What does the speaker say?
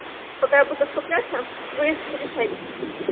пока я буду скупляться вы решаетесь